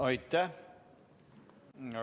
Aitäh!